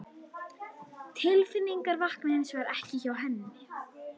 Tilfinningin vaknar hins vegar ekki hjá henni